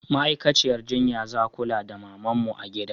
Ma'aikaciyar jinya za kula da mamanmu a gida